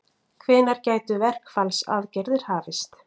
Hvenær gætu verkfallsaðgerðir hafist?